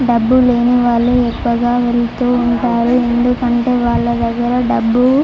డబ్బులు లేని వాళ్ళు ఎక్కువగా వెళుతూ ఉంటారు. వాళ్ళ దగ్గర డబ్బులు లేని కారణంగా--